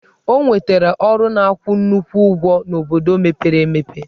Ọ nwetara ọrụ na-akwụ nnukwu ụgwọ n'obodo mepere emepe.